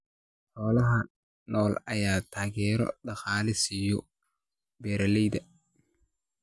Xoolaha nool ayaa taageero dhaqaale siiya beeralayda.